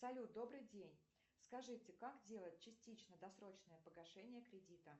салют добрый день скажите как делать частично досрочное погашение кредита